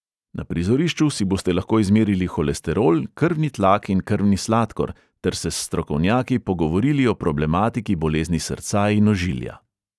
Na prizorišču si boste lahko izmerili holesterol, krvni tlak in krvni sladkor ter se s strokovnjaki pogovorili o problematiki bolezni srca in ožilja.